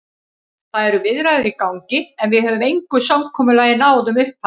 Það eru viðræður í gangi, en við höfum engu samkomulagi náð um upphæðir.